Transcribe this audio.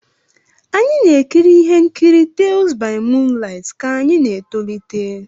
Anyị na-ekiri ihe nkiri "Tales by moonlight" ka anyị na-etolite.